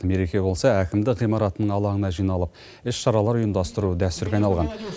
мереке болса әкімдік ғимаратының алаңына жиналып іс шаралар ұйымдастыру дәстүрге айналған